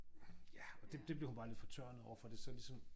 Ja og det det blev hun bare sådan lidt fortørnet over for det så ligesom